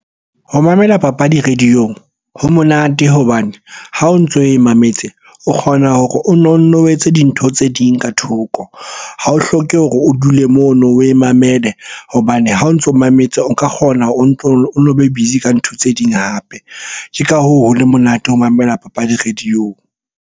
Ho mamela papadi radio-ong ho monate hobane ha o ntso e mametse o kgona hore o no nne o wetse dintho tse ding ka thoko. Ha o hloke hore o dule mono oe mamele hobane ha o ntso mametse o ka kgona o no be busy ka ntho tse ding hape. Ke ka hoo ho le monate ho mamela papadi radio-ong.